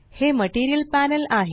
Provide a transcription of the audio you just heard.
हे material panel आहे